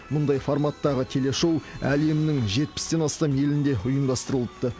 мұндай форматтағы телешоу әлемнің жетпістен астам елінде ұйымдастырылыпты